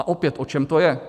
A opět, o čem to je?